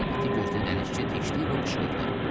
Ən iti gözlü dənizçi Teşdiqo qışqırdı.